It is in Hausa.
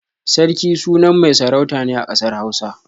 Sarki sunan mai sarauta ne a ƙasar Hausa.